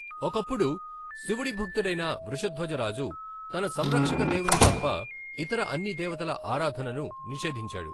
ఒకప్పుడు, శివుడి భక్తుడైన వృషధ్వజ రాజు, తన సంరక్షక దేవుని తప్ప ఇతర అన్ని దేవతల ఆరాధనను నిషేధించాడు.